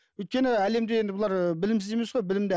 өйткені әлемде енді бұлар білімсіз емес қой білімді